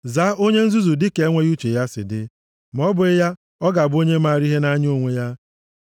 Zaa onye nzuzu dịka enweghị uche ya si dị, ma ọ bụghị ya ọ ga-abụ onye maara ihe nʼanya onwe ya.